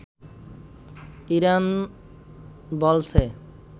Iran বলছে